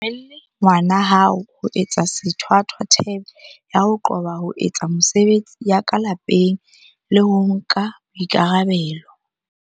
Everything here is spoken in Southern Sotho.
O se dumelle ngwana hao ho etsa sethwathwa thebe ya ho qoba ho etsa mesebetsi ya ka lapeng le ho nka boikarabelo.